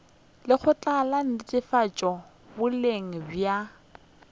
lekgotla la netefatšo boleng bja